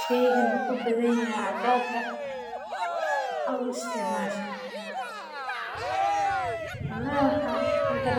Sheygani waxaa uu leyahay waxaa waye inaad sarif ooga baahatid sido kale waxeey